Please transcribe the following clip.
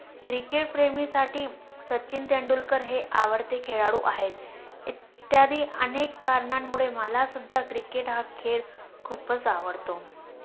Cricket प्रेमीसाठी सचिन तेंडुलकर हे आवडते खेळlडू आहेत. इत्यादी अनेक कारणांमुळे मलासुद्धा क्रिकेट हा खेळ खूपच आवडतो